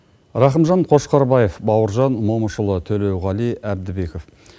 рақымжан қошқарбаев бауыржан момышұлы төлеуғали әбдібеков